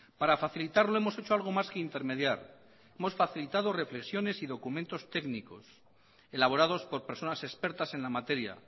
para facilitarlo hemos hecho algo más que intermediar hemos facilitado reflexiones y documentos técnicos elaborados por personas expertas en la materia